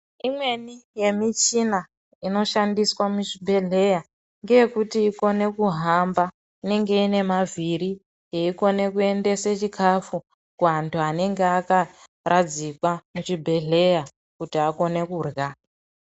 Imweni yemuchina inoshandiswa muchibhehleya ngeyekuti ikone kuhamba inenge inemavhiri yeikone kuendese chikafu kuantu anenge akaradzikwa muchibhehleya kuti akone kurya.